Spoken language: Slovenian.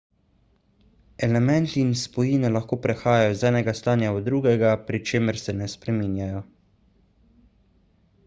elementi in spojine lahko prehajajo iz enega stanja v drugega pri čemer se ne spremenijo